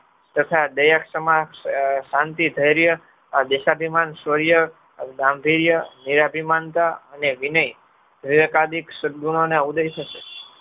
તથા દયકતમાં શાંતિ ધૈર્ય દિશાભિમાન નીરાભી માનતા અને વિનેય વીવેકાદીત સદગુણોને અવદેશે છે.